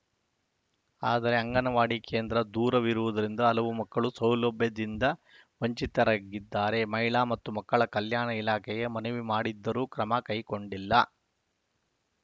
ಆದರೆ ಅಂಗನವಾಡಿ ಕೇಂದ್ರ ದೂರ ಇರುವುದರಿಂದ ಹಲವು ಮಕ್ಕಳು ಸೌಲಭ್ಯದಿಂದ ವಂಚಿತರಾಗಿದ್ದಾರೆ ಮಹಿಳಾ ಮತ್ತು ಮಕ್ಕಳ ಕಲ್ಯಾಣ ಇಲಾಖೆಗೆ ಮನವಿ ಮಾಡಿದ್ದರೂ ಕ್ರಮ ಕೈಗೊಂಡಿಲ್ಲ